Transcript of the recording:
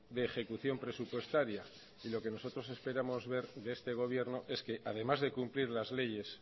de ejecución presupuestaria y lo que nosotros esperamos ver de este gobierno es que además de cumplir las leyes